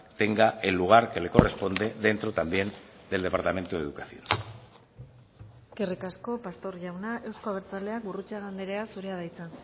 tenga el lugar que le corresponde dentro también del departamento de educación eskerrik asko pastor jauna euzko abertzaleak gurrutxaga andrea zurea da hitza